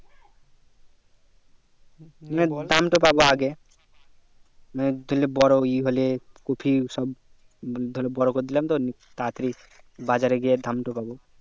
মানে দাম তা পাবো আগে মানে ধরলে বড়ো ই হলে কপি সব ধরে সব বড়ো করে দিলাম তো তাড়া তাড়ি বাজারে গিয়ে দাম তো পাবো